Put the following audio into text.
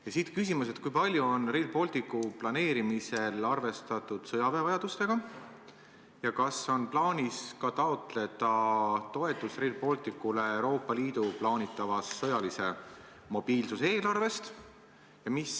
Ja siit küsimus: kui palju on Rail Balticu planeerimisel arvestatud sõjaväe vajadustega ja kas on plaanis taotleda Rail Balticule toetust ka Euroopa Liidu plaanitavast sõjalise mobiilsuse eelarvest?